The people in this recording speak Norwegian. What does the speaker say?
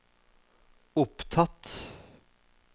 opptatt